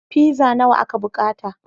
Pizza nawa aka bukata.